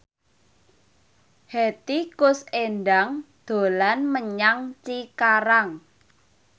Hetty Koes Endang dolan menyang Cikarang